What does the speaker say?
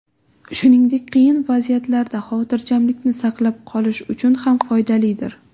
Shuningdek, qiyin vaziyatlarda xotirjamlikni saqlab qolish uchun ham foydalidir.